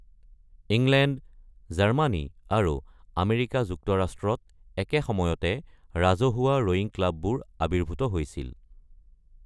England, জাৰ্মানী আৰু America যুক্তৰাষ্ট্ৰত একে সময়তে ৰাজহুৱা ৰ’য়িং ক্লাববোৰ আৱিৰ্ভূত হৈছিল।